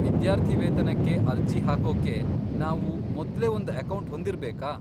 ವಿದ್ಯಾರ್ಥಿವೇತನಕ್ಕೆ ಅರ್ಜಿ ಹಾಕೋಕೆ ನಾವು ಮೊದ್ಲೇ ಒಂದು ಅಕೌಂಟ್ ಹೊಂದಿರ್ಬೇಕಾ?